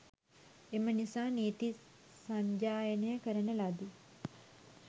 එම නිසා නීති සජ්ඣායනය කරන ලදී.